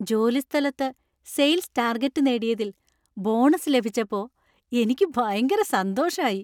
ജോലിസ്ഥലത്ത് sales target നേടിയതില്‍ bonus ലഭിച്ചപ്പോ എനിക്ക് ഭയങ്കര സന്തോഷായി.